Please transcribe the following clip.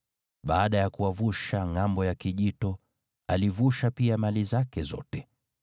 Baada ya kuwavusha ngʼambo ya kijito, alivusha pia mali zake zote.